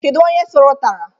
Kedu onye suru utara?